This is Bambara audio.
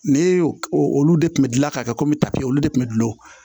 Ne y'o o olu de tun bɛ gilan ka kɛ kɔmi papiye olu de tun bɛ dulon